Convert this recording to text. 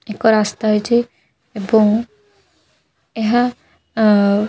ଏକ ରାସ୍ତା ଏଇଠି ଏବଂ ଏହା ଅ--